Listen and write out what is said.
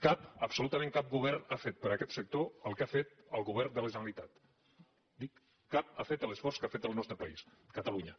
cap absolutament cap govern ha fet per aquest sector el que ha fet el govern de la generalitat dic cap ha fet l’esforç que ha fet el nostre país catalunya